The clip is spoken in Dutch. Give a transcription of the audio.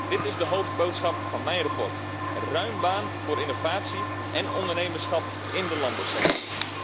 Dit is de hoofdboodschap van mijn verslag ruim baan voor innovatie en ondernemerschap in de landbouwsector.